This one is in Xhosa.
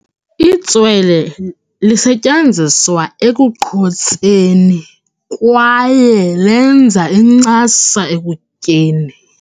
Itswele lisetyenziswa ekuqhotseni kwaye lenza incasa ekutyeni.